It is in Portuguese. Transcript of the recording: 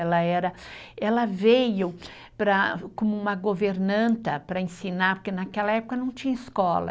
Ela era, ela veio para, como uma governanta para ensinar, porque naquela época não tinha escola.